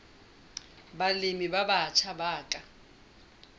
balemi ba batjha ba ka